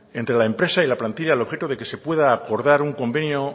entre la empresa y la plantilla al objeto de que pueda acordar un convenio